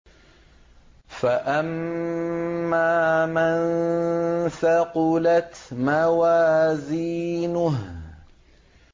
فَأَمَّا مَن ثَقُلَتْ مَوَازِينُهُ